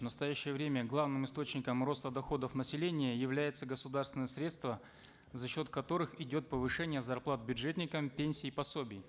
в настоящее время главным источником роста доходов населения являются государственные средства за счет которых идет повышение зарплат бюджетникам пенсий и пособий